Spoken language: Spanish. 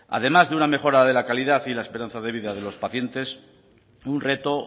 además de una mejora de la calidad y la esperanza de vida de los pacientes un reto